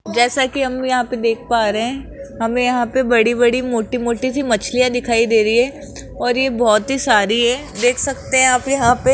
जैसा कि हम यहां पे देख पा रहे हैं हमें यहां पर बड़ी-बड़ी मोटी-मोटी सी मछलियां दिखाई दे रही हैं और ये बहुत ही सारी है देख सकते हैं आप यहां पे --